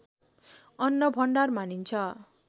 अन्नभण्डार मानिन्छ